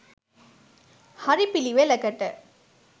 හරි පිළිවෙලකට